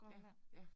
Ja, ja